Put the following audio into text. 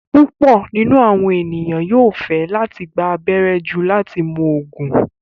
Púpọ̀ nínu awọn ènìyàn yóò fẹ́ latí gbà àbẹ̀rẹ̀ jù láti mún oogun